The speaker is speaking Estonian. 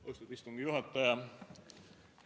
Austatud istungi juhataja!